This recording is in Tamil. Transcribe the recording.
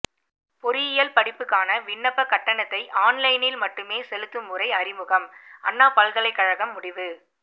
பொறியியல் படிப்புக்கான விண்ணப்பக் கட்டணத்தை ஆன்லைனில் மட்டுமே செலுத்தும் முறை அறிமுகம் அண்ணா பல்கலைக்கழகம் முடிவு